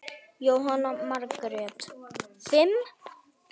Jóhanna Margrét: Fimm?